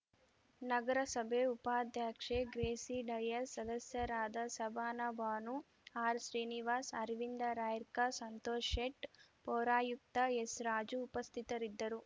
ನಗರಸಭೆ ಉಪಾಧ್ಯಕ್ಷೆ ಗ್ರೇಸಿ ಡಯಾಸ್‌ ಸದಸ್ಯರಾದ ಸಬಾನಾ ಬಾನು ಆರ್‌ಶ್ರೀನಿವಾಸ್‌ ಅರವಿಂದ ರಾಯ್ಕರ್‌ ಸಂತೋಷ್‌ ಶೇಟ್‌ ಪೌರಾಯುಕ್ತ ಎಸ್‌ರಾಜು ಉಪಸ್ಥಿತರಿದ್ದರು